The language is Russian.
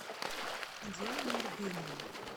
диана арбенина